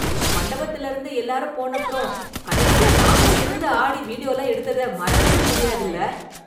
மண்டபத்துலயிருந்து எல்லாரும் போனப்பறம், கடைசியா நாமளா இருந்து ஆடி, வீடியோலாம் எடுத்தத மறக்கவே முடியாதுல.